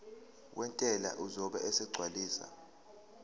wentela uzobe esegcwalisa